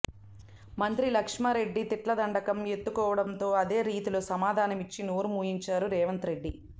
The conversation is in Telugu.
మంత్రి లక్ష్మారెడ్డి తిట్లదండకం ఎత్తుకోవడంతో అదే రీతిలో సమాధానం ఇచ్చి నోరు మూయించారు రేవంత్రెడ్డి